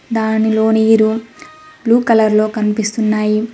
దానిలోని room blue colour లో కనిపిస్తున్నాయి.